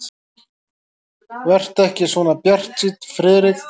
Vertu ekki svona bjartsýnn, Friðrik.